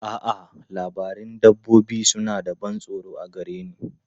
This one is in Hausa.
A'a, labarun dabbobi suna da ban tsoro a gare ni.